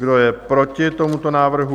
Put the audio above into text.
Kdo je proti tomuto návrhu?